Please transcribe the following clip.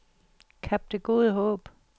Kap Det Gode Håb